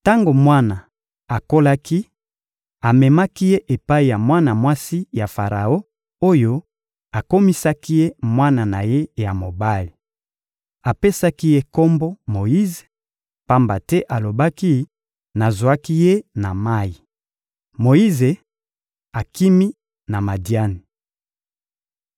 Tango mwana akolaki, amemaki ye epai ya mwana mwasi ya Faraon oyo akomisaki ye mwana na ye ya mobali. Apesaki ye kombo «Moyize,» pamba te alobaki: «Nazwaki ye na mayi.» Moyize akimi na Madiani